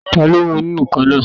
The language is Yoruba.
Taló mú ìnù-ǹkan náà?